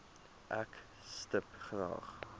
ek stip graag